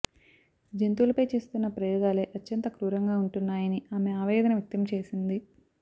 జంతువుల పై చేస్తున్న ప్రయోగాలే అత్యంత క్రూరంగా ఉంటున్నాయని ఆమె ఆవేదన వ్యక్తం చేసింది